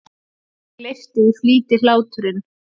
En gleypti í flýti hláturinn.